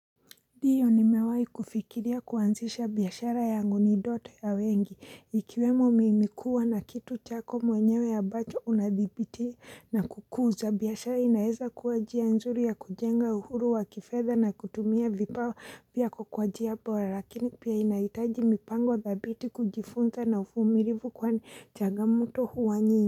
Ndiyo nimewai kufikiria kuanzisha biashara yangu ni ndoto ya wengi, ikiwemo mimi kuwa na kitu chako mwenyewe ambacho unadhibiti na kukuza, biashara inaeza kuwa njia nzuri ya kujenga uhuru wa kifedha na kutumia vipawa pia kwa njia bora, lakini pia inaitaji mipango dhabiti kujifunza na uvumilivu kwani changamoto huwa nyingi.